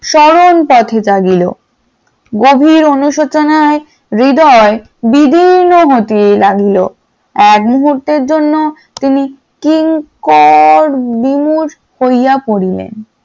সরল পথে তাগিল গভীর অনুশোচনায় হৃদয় বিবিন্ন হতে লাগলো । এক মুহূর্তের জন্য তিনি কিঙ্কড বিমুখ হইয়া পড়িলেন ।